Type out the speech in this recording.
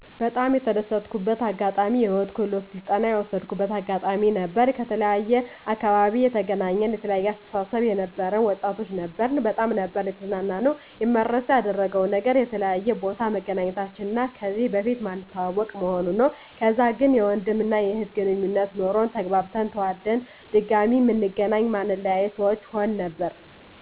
በጣም የተደሰትኩበት አጋጣሚ የህይወት ክህሎት ስልጠና የወሰድኩበት አጋጣሚ ነበር። ከተለያየ አካባቢ የተገናኘን የተለያየ አስተሳሰብ የነበረን ወጣቶች ነበርን በጣም ነበር የተዝናናነው። የማይረሳ ያደረገው ነገር ከተለያየ ቦታ መገናኘታችን እና ከዚህ በፊት ማንተዋወቅ መሆኑ ነው። ከዛ ግን የወንድም እና የእህት ግነኙነት ኖሮን ተግባብተን ተዋደን ድጋሚ ምንገናኝ ማንለያይ ሰዎች ሁን ነበር